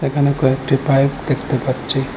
এখানে কয়েকটি পাইপ দেখতে পাচ্ছি।